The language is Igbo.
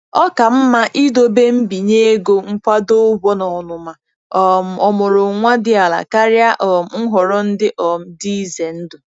Ọ ka mma idobe mbinye ego nkwado ụgwọ na ọnụma um ọmụrụ nwa dị ala karịa um nhọrọ ndị um dị ize ndụ.